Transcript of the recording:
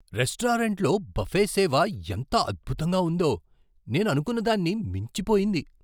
రెస్టారెంట్లో బఫే సేవ ఎంత అద్భుతంగా ఉందో, నేను అనుకున్నదాన్ని మించిపోయింది!